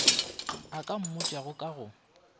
a ka mmotšago ka go